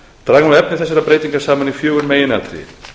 draga má efni þessara breytinga saman í fjögur meginatriði